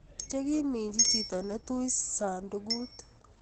chekiminjii chito netui sandakuut